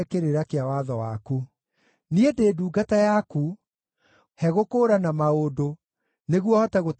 Niĩ ndĩ ndungata yaku; he gũkũũrana maũndũ, nĩguo hote gũtaũkĩrwo nĩ kĩrĩra gĩaku.